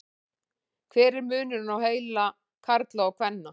hver er munurinn á heila karla og kvenna